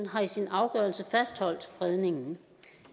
har i sin afgørelse fastholdt fredningen